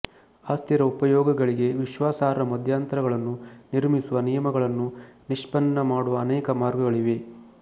ಅಸ್ಥಿರ ಉಪಯೋಗಗಳಿಗೆ ವಿಶ್ವಾಸಾರ್ಹ ಮಧ್ಯಂತರಗಳನ್ನು ನಿರ್ಮಿಸುವ ನಿಯಮಗಳನ್ನು ನಿಷ್ಪನ್ನ ಮಾಡಲು ಅನೇಕ ಮಾರ್ಗಗಳಿವೆ